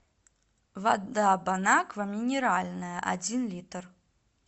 вода бонаква минеральная один литр